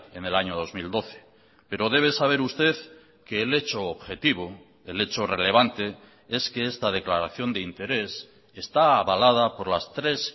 en el año dos mil doce pero debe saber usted que el hecho objetivo el hecho relevante es que esta declaración de interés está avalada por las tres